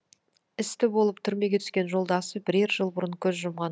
істі болып түрмеге түскен жолдасы бірер жыл бұрын көз жұмған